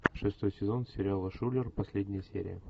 шестой сезон сериала шулер последняя серия